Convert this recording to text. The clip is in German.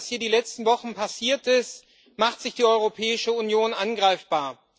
Durch das, was hier in den letzten Wochen passiert ist, macht sich die Europäische Union angreifbar.